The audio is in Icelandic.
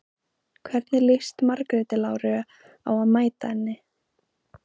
Hvernig líst Margréti Láru á að mæta henni?